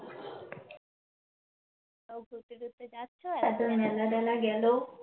কোথাও ঘুরতে - টুরতে যাচ্চো? এতো মেলা টেলা গেলো